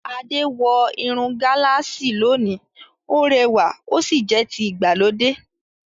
Ade wọ irun gálààsì lónìí; Ó rẹwà ó sì jẹ́ ti ìgbàlódé.